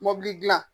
Mɔbili dilan